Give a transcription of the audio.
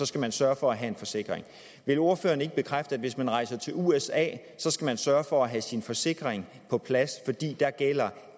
skal man sørge for at have en forsikring vil ordføreren ikke bekræfte at hvis man rejser til usa skal man sørge for at have sin forsikring på plads fordi dér gælder